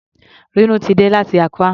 Rínú ti dé láti Accra.